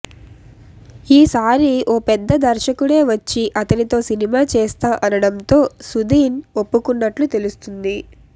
ఈసారి ఓ పెద్ద దర్శకుడే వచ్చి అతనితో సినిమా చేస్తా అనడంతో సుధీన్ ఒప్పుకున్నట్లు తెలుస్తుంది